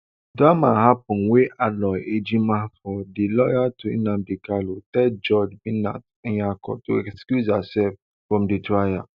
drama happun wen aloy ejimakor di lawyer to nnamdi kanu tell judge binta nyako to excuse herself from di trial